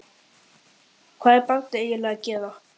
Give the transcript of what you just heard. Hvað var barnið eiginlega að gera?